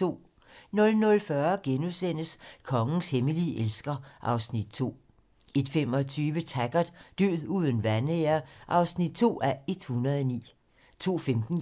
00:40: Kongens hemmelige elsker (Afs. 2)* 01:25: Taggart: Død uden vanære (2:109) 02:15: